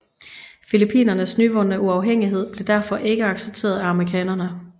Filippinernes nyvundne uafhængighed blev derfor ikke accepteret af amerikanerne